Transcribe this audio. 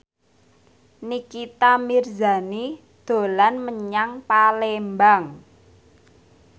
Nikita Mirzani dolan menyang Palembang